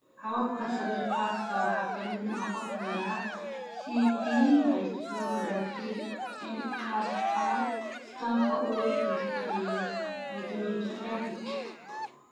Hababka sawir-qaadista waxaa ka mid noqon kara: CT angiography, MRI, scanka uur jirta iyo arteriographika.